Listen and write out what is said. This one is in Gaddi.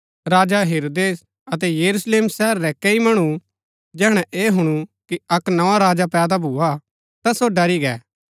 राजा हेरोदेस अतै यरूशलेम शहर रै कैई मणु जैहणै ऐह हुणु कि अक्क नोआ राजा पैदा भूआ ता सो ड़री गै